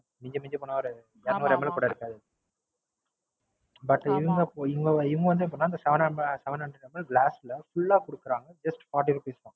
மிஞ்சி மிஞ்சி போனா இரநூறு MI கூட இருக்காது. But இவங்க வந்து எப்படின்னா Seven hundred ml ல Full ஆ கொடுக்கறாங்க. Just forty rupees தான்.